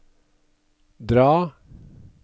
dra